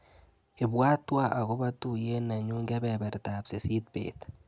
Ibwatwa akobo tuiyet nenyuu kebebertap sisit bet.